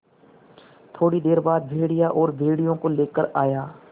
थोड़ी देर बाद भेड़िया और भेड़ियों को लेकर आया